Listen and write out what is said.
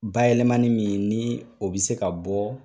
Bayɛlɛlmani min ni o bɛ se ka bɔ